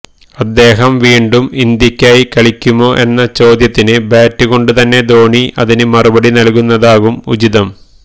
അദ്ദേഹം വീണ്ടും ഇന്ത്യക്കായി കളിക്കുമോ എന്ന ചോദ്യത്തിന് ബാറ്റ് കൊണ്ടുതന്നെ ധോണി അതിന് മറുപടി നല്കുന്നതാകും ഉചിതം